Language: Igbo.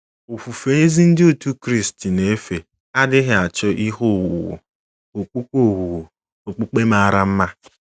Ofufe ezi Ndị Otú Kristi na-efe adịghị achọ ihe owuwu okpukpe owuwu okpukpe mara mma.